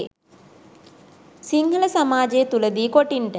සිංහල සමාජය තුළ දී කොටින්ට